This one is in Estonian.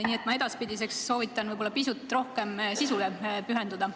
Nii et ma edaspidiseks soovitan pisut rohkem sisule pühenduda.